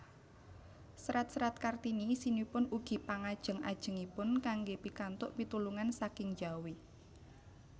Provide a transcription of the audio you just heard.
Serat serat Kartini isinipun ugi pangajeng ajengipun kanggé pikantuk pitulungan saking njawi